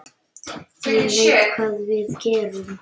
Ég veit hvað við gerum!